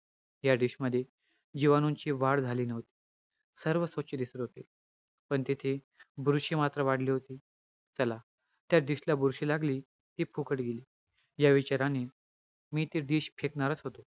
दोषांची सर्व कार्य धातूंच्या माध्यमातून घडून येतात उदाहरणार्थ हालचाल घडून आणणे हे वात दोषांची कार्य मांस धातूच्या माध्यमातून होत असते. शरीराची वृद्धी करणे हे कंप दोषांचे कार्य असते, विशेष करून मांस मेद धातूच्या माध्यमातून होते.